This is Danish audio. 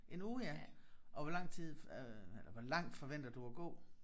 En uge ja og hvor lang tid øh hvor langt forventer du at gå?